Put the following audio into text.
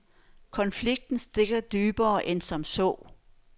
Konflikten stikker dybere end som så.